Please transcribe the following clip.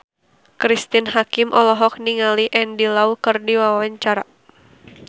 Cristine Hakim olohok ningali Andy Lau keur diwawancara